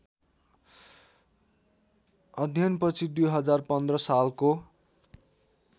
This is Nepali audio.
अध्ययनपछि २०१५ सालको